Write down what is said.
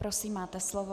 Prosím, máte slovo.